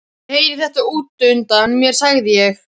Ég heyrði þetta út undan mér sagði ég.